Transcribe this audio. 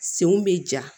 Senw bɛ ja